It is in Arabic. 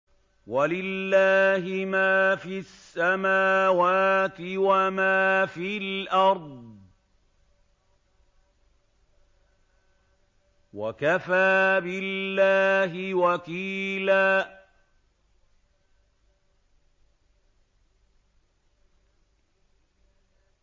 وَلِلَّهِ مَا فِي السَّمَاوَاتِ وَمَا فِي الْأَرْضِ ۚ وَكَفَىٰ بِاللَّهِ وَكِيلًا